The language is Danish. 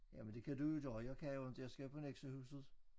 Jamen det kan du jo der jeg kan jo inte jeg skal på Nexøhuset